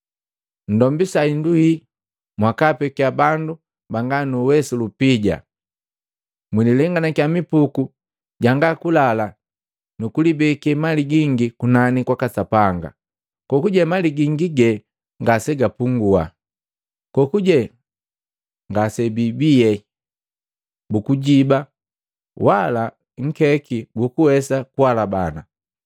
Nndombisa hindu hii, mwakaapekia bandu banga nuwesu lupija. Mwililenganakya mipuku jangakulala, nukulibeke mali gingi kunani kwaka Sapanga, kokuje mali gingi ye ngase ipungua. Kokuje nga bii, bukujiba wala nkeki goguwesa kuhalabana.